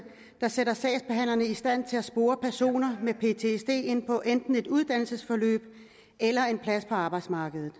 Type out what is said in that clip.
der sætter sagsbehandlerne i stand til at spore personer med ptsd ind på enten et uddannelsesforløb eller en plads på arbejdsmarkedet